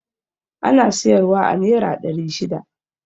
Ana siyar wa a nera ɗari shida